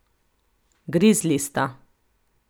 Grizli sta.